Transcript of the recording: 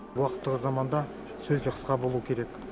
уақыт тығыз заманда сөз де қысқа болу керек